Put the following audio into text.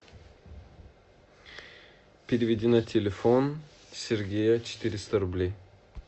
переведи на телефон сергея четыреста рублей